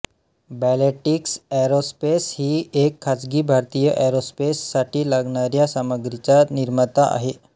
Bellatrix aerospace ही एक खाजगी भारतीय एरोस्पेस साठी लागणाऱ्या सामग्रीचा निर्माता आहे